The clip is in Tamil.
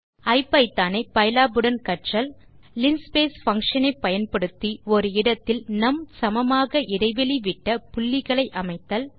ஐபிதான் ஐ பைலாப் உடன் கற்றல் லின்ஸ்பேஸ் பங்ஷன் ஐ பயன்படுத்தி ஒரு இடத்தில் நும் சமமாக இடைவெளி விட்ட புள்ளிகளை அமைத்தல்